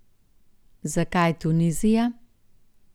Zakaj Tunizija?